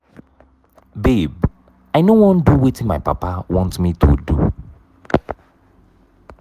babe i no wan do wetin my papa want me to do.